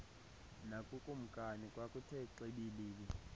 nakukumkani kwakuthe xibilili